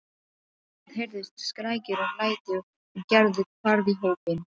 Það heyrðust skrækir og læti og Gerður hvarf í hópinn.